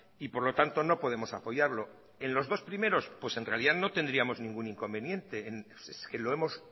y por lo tanto no podemos apoyarlo en los dos primeros en realidad no tendríamos ningún inconveniente es que lo hemos